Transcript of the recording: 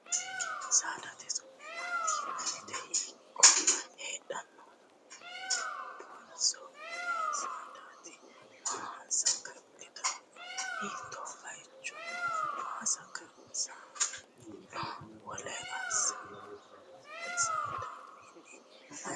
Saadate su'ma maati yinannite? Hiikko heeranno? Dubbunso mini saadaati? Maa saga'linanno? Hiittoo baayicho no? Maa assanni no? Wole saadawiinni maayinni baxxitanno?